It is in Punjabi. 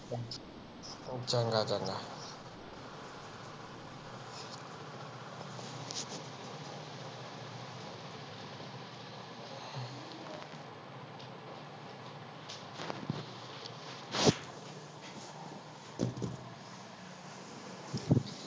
ਚੰਗਾ ਚੰਗਾ।